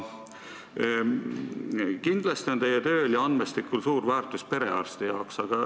Kindlasti on teie tööl ja andmestikul suur väärtus perearsti jaoks.